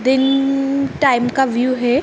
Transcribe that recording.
Dinner time का view है।